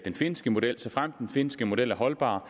en finske model såfremt den finske model er holdbar